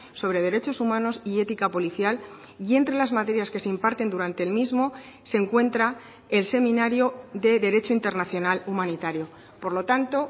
sobre derechos humanos y ética policial y entre las materias que se imparten durante el mismo se encuentra el seminario de derecho internacional humanitario por lo tanto